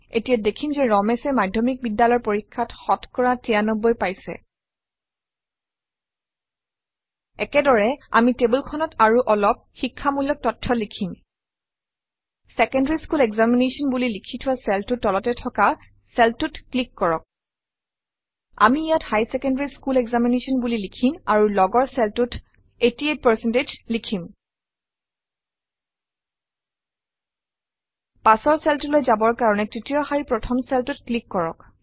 এতিয়া দেখিম যে ৰমেশে মাধ্যমিক বিদ্যালয়ৰ পৰীক্ষাত শতকৰা ৯৩ পাইছে একেদৰে আমি টেবুলখনত আৰু অলপ শিক্ষামূলক তথ্য লিখিম ছেকেণ্ডাৰী স্কুল এক্সামিনেশ্যন বুলি লিখি থোৱা চেলটোৰ তলতে থকা চেলটোত ক্লিক কৰক আমি ইয়াত হাইৰ ছেকেণ্ডাৰী স্কুল এক্সামিনেশ্যন বুলি লিখিম আৰু লগৰ চেলটোত 88 লিখিম পাছৰ চেলটোলৈ যাবৰ কাৰণে তৃতীয় শাৰীৰ প্ৰথম চেলটোত ক্লিক কৰক